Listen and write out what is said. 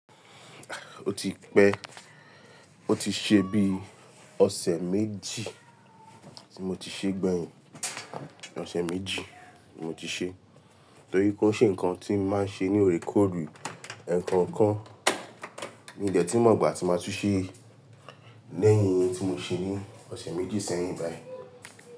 O ti pẹ́, o ti ṣe bí ọ̀sẹ̀ méjì tí mo ti ṣe gbẹ̀yìn, ọ̀sẹ̀ méjì mo ti ṣe, torí kó i ṣe ǹkan tí mo máa ń ṣe ní oorekoore ekookan mi n dẹ̀ tun mo igbà tí máa tún ṣe lẹ́yìn ohun tí mo ṣe ní ọ̀sẹ̀ méjì sẹ́yìn báyìí.